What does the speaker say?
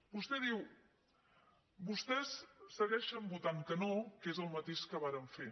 vostè diu vostès segueixen votant que no que és el mateix que varen fer